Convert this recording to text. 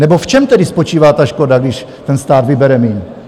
Nebo v čem tedy spočívá ta škoda, když ten stát vybere míň?